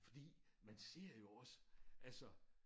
Fordi man ser jo også altså